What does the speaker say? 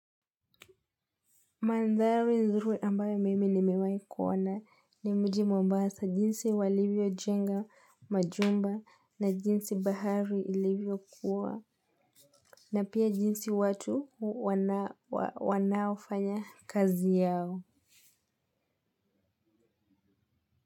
Mandhari nzuri ambayo mimi nimewahi kuona ni mji mwambasa jinsi walivyojenga majumba na jinsi bahari ilivyokuwa na pia jinsi watu wanavyofanya kazi yao.